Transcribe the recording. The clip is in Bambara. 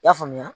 I y'a faamuya